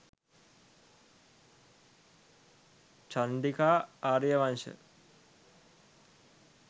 chandika ariyawansha